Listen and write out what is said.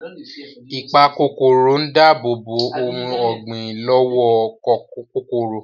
Ìpakòkòrò ń dáàbòbò ohun ọ̀gbìn lọ́wọ́ kòkòrò